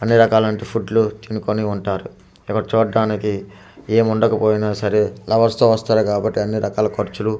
అన్ని రకాలనువంటి ఫుడ్ లుతినుకొని ఉంటారు ఎవరు చూడటానికి ఏమి ఉండకపోయినా సరే లవర్స్ తో వస్తారు కాబట్టి అన్ని రకాల ఖర్చులు వాల్--